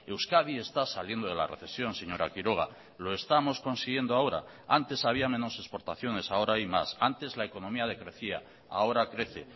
euskadi está saliendo de la recesión señora quiroga lo estamos consiguiendo ahora antes había menos exportaciones ahora hay más antes la economía decrecía ahora crece